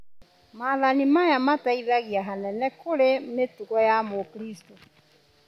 Maathani maya mateithagia hanene kũrĩ mĩtugo ya mũkristo